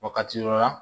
O wagati yɔrɔ la